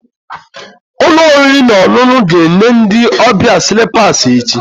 Ụlọ oriri na ọṅụṅụ ga-enye ndị ọbịa slippers echi